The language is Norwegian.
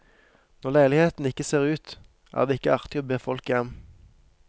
Når leiligheten ikke ser ut, er det ikke artig å be folk hjem.